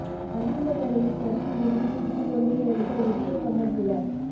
மஹிந்த மேடையில் சறுக்கி விழுந்து சிரித்துக் கொண்டே எழுந்த உதய கம்மன்பில